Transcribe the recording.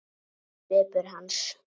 segir svipur hans.